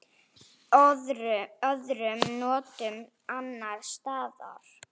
Öðrum nóttum annars staðar?